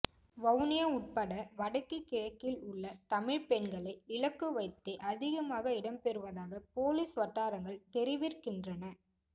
வவுனியா உட்பட வடக்கு கிழக்கில் உள்ள தமிழ் பெண்களை இலக்குவைத்தே அதிகமாக இடம்பெறுவதாக பொலிஸ் வட்டாரங்கள் தெரிவிற்கின்றன